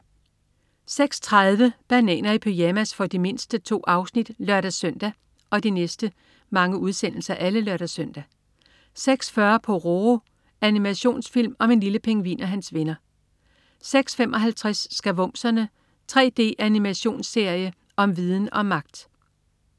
06.30 Bananer i pyjamas. For de mindste. 2 afsnit (lør-søn) 06.40 Pororo. Animationsfilm om en lille pingvin og hans venner (lør-søn) 06.55 Skavumserne. 3D-animationsserie om viden og magt! (lør-søn)